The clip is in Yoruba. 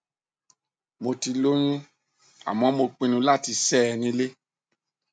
mo ti lóyún àmọ mo pinnu láti ṣẹ ẹ nílé